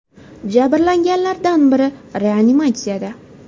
Jabrlanganlardan biri reanimatsiyada.